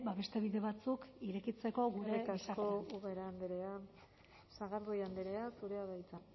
ba beste bide batzuk irekitzeko gure gizartean eskerrik asko ubera andrea sagardui andrea zurea da hitza